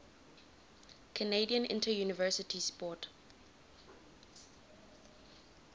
canadian interuniversity sport